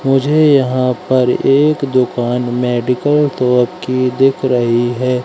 मुझे यहां पर एक दुकान मेडिकल शॉप की दिख रही है।